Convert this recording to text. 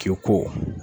K'i ko